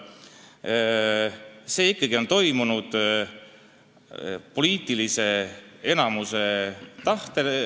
See arutelu on ikkagi toimunud poliitilise enamuse tahtel.